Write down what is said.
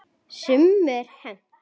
Sumu er hent.